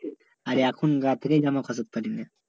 আর এখন রাত্রে যেন কাটাতে পারি না